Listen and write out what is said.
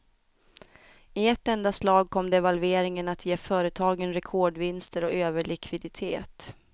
I ett enda slag kom devalveringen att ge företagen rekordvinster och överlikviditet.